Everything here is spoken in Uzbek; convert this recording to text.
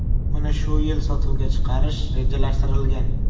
Uni shu yil sotuvga chiqarish rejalashtirilgan.